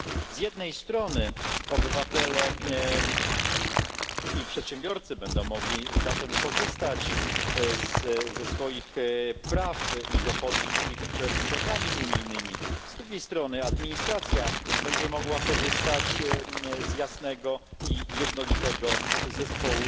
Z jednej strony zatem obywatele i przedsiębiorcy będą mogli korzystać ze swoich praw i dochodzić ich przed sądami unijnymi, z drugiej strony administracja będzie mogła korzystać z jasnego i jednolitego zespołu